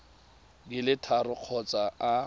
di le tharo kgotsa a